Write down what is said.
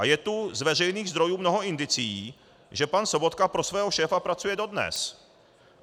A je tu z veřejných zdrojů mnoho indicií, že pan Sobotka pro svého šéfa pracuje dodnes.